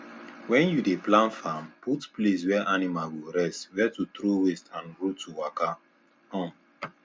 when you dey plan farm put place where animal go rest where to throw waste and road to waka um